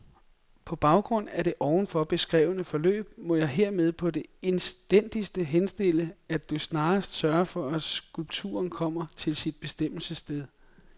På baggrund af det ovenfor beskrevne forløb må jeg hermed på det indstændigste henstille, at du snarest sørger for at skulpturen kommer til sit bestemmelsessted.